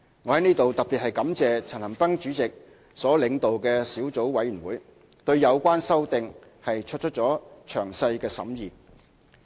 我在此特別感謝陳恒鑌主席所領導的小組委員會，對有關修訂作出了詳細的審議。